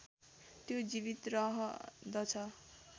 त्यो जीवित रहँदछ